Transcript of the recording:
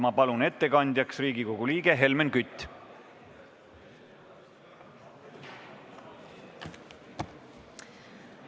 Ma palun ettekandjaks Riigikogu liikme Helmen Küti!